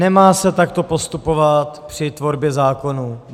Nemá se takto postupovat při tvorbě zákonů.